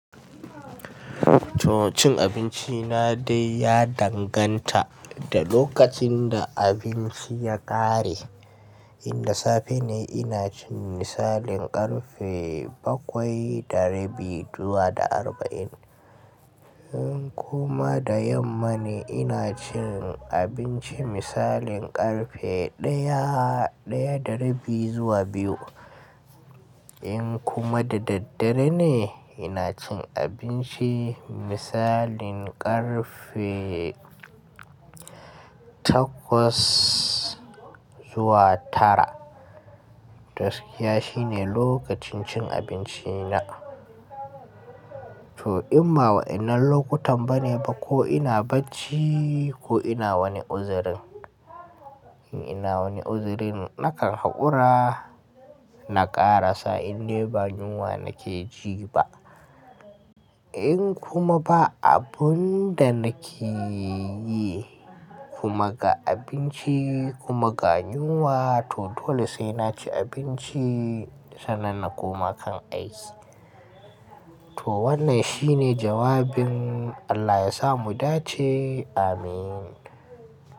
To cin abinci na dai ya danganta da lokacin da abinci ya ƙare. In da safe ne ina cin misalin ƙarfe bakwai darabi zuwa zuwa da arba'in. In kuma da yamma ne ina cin abinci misalin ƙarfe ɗaya, ɗaya darabi zuwa biyu. In kuma da daddare ne ina cin abinci misalin ƙarfe takwas zuwa tara. Gaskiya shine lokacin cin abinci na. To in ba wa'inan lokutan ba ne ba ko ina barci ko ina wani uzirin. In ina wani uzirin nakan haƙura na ƙara sa in dai ba yuwa nake ji ba. In kuma ba abun da nake yi kuma ga abinci kuma ga nyuwa to dole sai naci abinci sannan na koma kan aiki. To wannan shine jawabin Allah yasa mu dace. Amin.